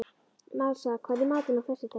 Marsa, hvað er í matinn á föstudaginn?